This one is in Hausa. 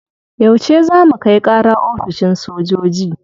Yauce za mu kai kara oficin sojoji?